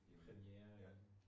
Præmiere